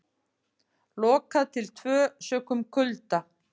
Lokað til tvö sökum kulda